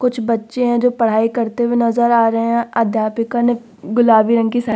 कुछ बच्चे हैं जो पढ़ाई करते हुए नज़र आ रहे हैं अध्यापिका ने गुलाबी रंग की साड़ी --